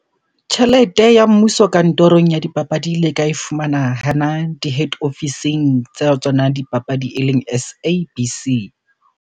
Tjhelete ya mmuso kantorong ya dipapadi le ka e fumana hana di-head ofising tsa tsona dipapadi eleng S_A_B_C.